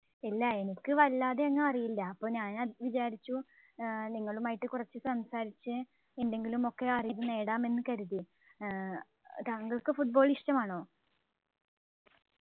ഇല്ല എനിക്ക് വല്ലാതെ അങ്ങ് അറിയില്ല അപ്പോൾ ഞാൻ വിചാരിച്ചു ഏർ നിങ്ങളുമായി കുറച്ച് സംസാരിച്ചു എന്തെങ്കിലുമൊക്കെ അറിവ് നേടാം എന്ന് കരുതി ഏർ താങ്കൾക്ക് Football ഇഷ്ടമാണോ